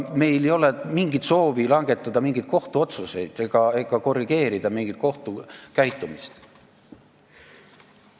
Meil ei ole mingit soovi langetada mingeid kohtuotsuseid ega korrigeerida kohtu käitumist.